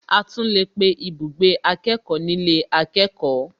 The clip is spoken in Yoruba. A tún lè pé ibùgbé akẹ́kọ̀ọ́ nílé akẹ́kọ̀ọ́